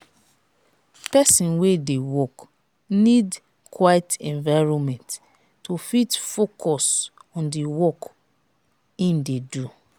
person wey de work need quite environment to fit focus on di work im de do